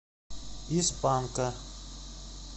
из панка